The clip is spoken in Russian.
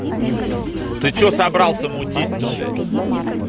ты что собрался мутить то блять